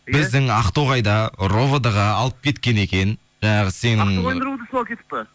біздің ақтоғайда ровд ға алып кеткен екен жаңағы сенің ақтоғайдың ровд сына алып кетіп пе